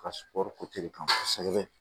Ka sukuro kan kosɛbɛ